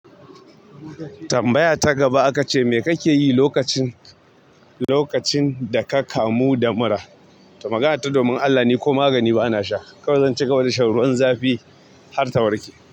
Tambaya ta gaba aka ce mai kake yi lokacin, lokacin da ka kamu da mura? To magana ta domin Allah ni ko magani ba na sha. Kawai zanci gaba da shan ruwan zafi har ta warke.